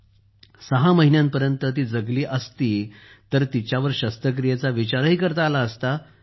परंतु ती सहा महिन्यांपर्यंत जगली असती तर तिच्यावर शस्त्रक्रियेचा विचार केला असता